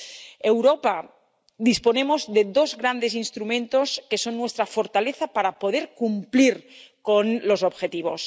En Europa disponemos de dos grandes instrumentos, que son nuestra fortaleza, para poder cumplir con los objetivos.